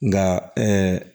Nka